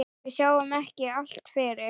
Við sjáum ekki allt fyrir.